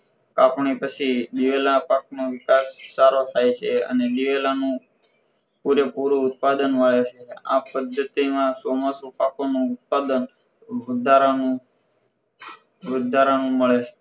પાકણી પછી દિવેલા પાકનો વિસ્તાર સારો થાય છે અને દિવેલાનું પૂરેપૂરું ઉત્પાદન વાવે છે આ પદ્ધતિ માં ચોમાસું પાકોનું ઉત્પાદન વધારાનું વધારાનું મળે છે